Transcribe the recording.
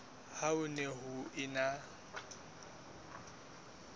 ha ho ne ho ena